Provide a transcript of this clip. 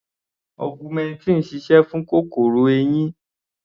Augmentin sise fún kòkòrò eyín.